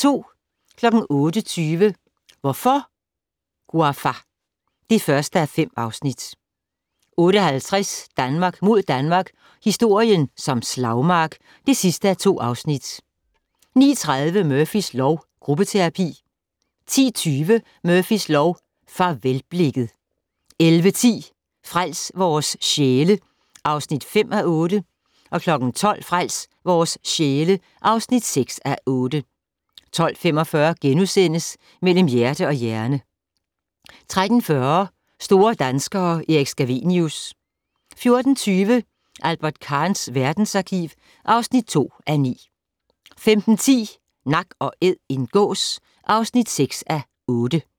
08:20: Hvorfor, Ouafa? (1:5) 08:50: Danmark mod Danmark - historien som slagmark (2:2) 09:30: Murphys lov: Gruppeterapi 10:20: Murphys lov: Farvelblikket 11:10: Frels vores sjæle (5:8) 12:00: Frels vores sjæle (6:8) 12:45: Mellem hjerte og hjerne * 13:40: Store danskere - Erik Scavenius 14:20: Albert Kahns verdensarkiv (2:9) 15:10: Nak & Æd - en gås (6:8)